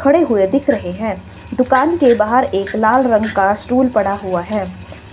खड़े हुए दिख रहे हैं दुकान के बाहर एक लाल रंग का स्टूल पड़ा हुआ है